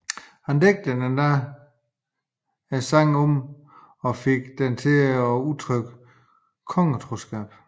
Han digtede endda sangen om og fik den til at udtrykke kongetroskab